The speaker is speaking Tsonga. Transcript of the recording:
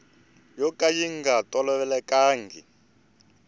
yo ka yi nga tolovelekangiki